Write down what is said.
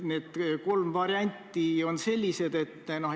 Need kolm varianti on sellised.